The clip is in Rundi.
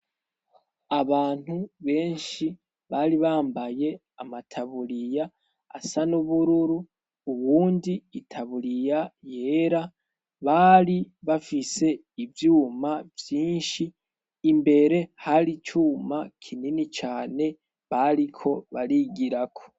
Abantu benshi bari bambaye amataburiya asa n'ubururu, uwundi itaburiya yera, bari bafise ivyuma vyinshi. Imbere har'icuma kinini cane bariko barigirako.